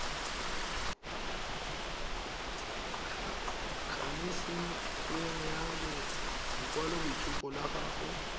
kanisitsweng ya lekwaloitshupo la gago